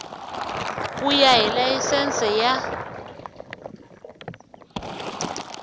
ku ya hi layisense ya